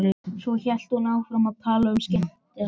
Svo hélt hún áfram að tala um skemmtanalífið.